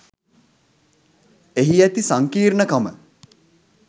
එහි ඇති සංකීර්ණකම